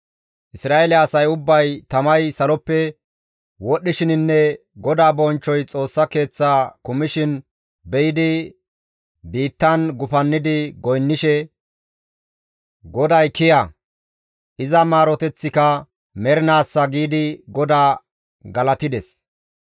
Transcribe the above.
Isra7eele asay ubbay tamay saloppe wodhdhishininne GODAA bonchchoy Xoossa Keeththaa kumishin be7idi biittan gufannidi goynnishe, «GODAY kiya! Iza maaroteththika mernaassa» giidi GODAA galatides.